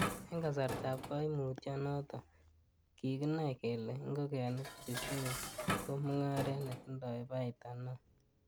En kasartab koimutyo noton, kikinai kele ingogenik che shebe ko mungaret netindoi baita neo.